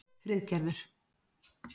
Friðgerður